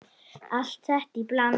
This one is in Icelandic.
Allt þetta í bland?